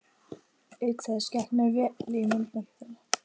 Auk þess gekk mér vel í myndmenntinni.